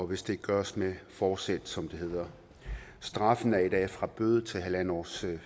hvis det gøres med forsæt som det hedder strafferammen går i dag fra bøde til halv års